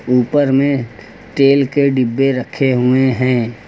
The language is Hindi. ऊपर में तेल के डब्बे रखे हुए हैं।